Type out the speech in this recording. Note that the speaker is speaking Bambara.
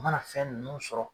U mana fɛn nunnu sɔrɔ